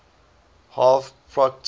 harv procter frere